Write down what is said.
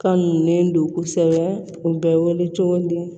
Kanulen don kosɛbɛ u bɛ wele cogo di